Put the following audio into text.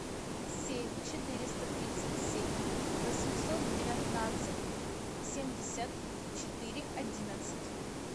семь четыреста тридцать семь восемьсот девятнадцать семьдесят четыре одиннадцать